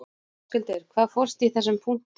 Höskuldur: Hvað fólst í þessum punktum?